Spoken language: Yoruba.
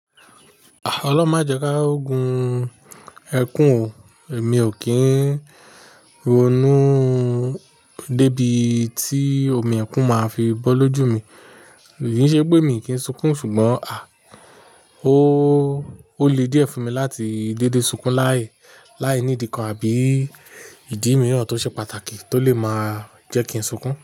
Ah! Ọlọ́mọjẹ́ká òògùn ẹkún mi ò kín ronú débi tí omi ẹkún máa fi bọ́ lójú mi. Kì í ṣe pé mi kì í sunkún ṣùgbọ́n à ó le díẹ̀ fún mi láti dédé sunkún láì, láì nídi kan àbí ìdí mìíràn tó ṣe pàtàkì tó lè máa jẹ́ kí n sunkún.